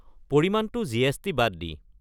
পৰিমাণটো জি.এছ.টি. বাদ দি।